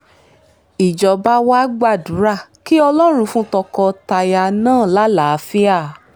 ìjọba wàá gbàdúrà kí ọlọ́run fún tọkọ-taya náà lálàáfíà